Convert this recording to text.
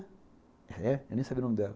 É, eu nem sabia o nome dela.